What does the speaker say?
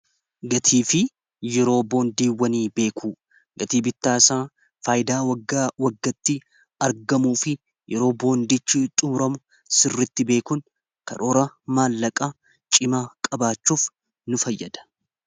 Gatii fi yeroo boondiiwwanii beekuun, gatii bittaa isaa, faayidaa (dhala) waggaa waggaatti argamuu fi yeroo boondichi xumuramu sirriitti beekuun, karoora maallaqaa cimaa qabaachuuf nu fayyada.